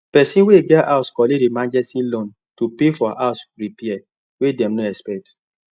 person wey get house collect emergency loan to pay for house repair wey dem no expect